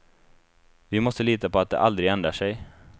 Vi måste lita på att de aldrig ändrar sig.